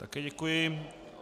Také děkuji.